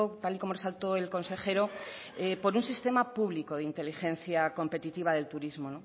tal y como resaltó el consejero por un sistema público de inteligencia competitiva del turismo